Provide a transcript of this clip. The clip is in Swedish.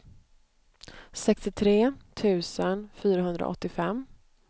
sextiotre tusen fyrahundraåttiofem